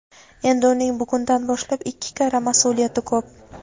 Endi uning bugundan boshlab ikki karra mas’uliyati ko‘p.